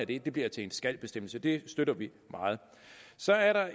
det det bliver til en skal bestemmelse og det støtter vi meget så er